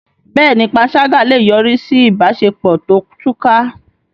Bẹ́ẹ̀ni, panṣágà lè yọrí sí ìbáṣepọ̀ tó túká.